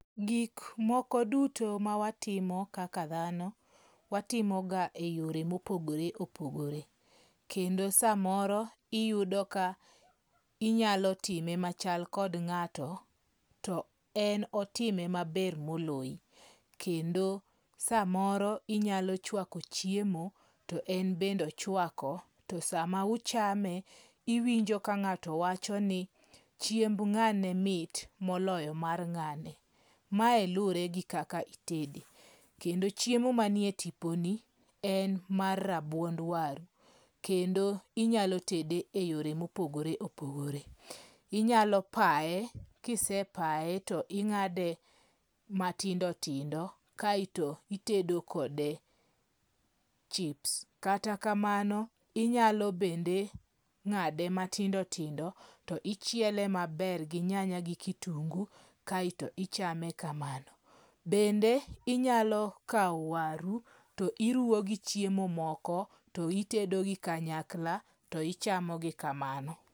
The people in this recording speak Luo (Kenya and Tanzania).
Gik moko duto mawatimo kaka thano, watimoga e yore ma opogore opogore kendo samoro iyudo ka inyalo time machal kod nga'to, to en otime maber moloyi kendo samoro inyalo chwako chiemo, to en bende ochuako to sama uchame iwinjo ka nga'to wachoni, chiemba nga'ne mit moloyo mar nga'ne, mae luwore gi kaka itede, to kendo chiemo manie tiponi, en mar rabuond waru kendo inyalo tede e yore mopogore opogore, inyalo paye kise paye to inga'de matindo tindo, kaeto itedo kode chips, kata kamano inyalo bende ngade matindotindo to ichiele maber gi nyanya gi kutungu kaeto ichame kamano, bende inyalo kawo waru to iruwo gi chiemo moko to itedogi kanyakla to ichamogi kamano.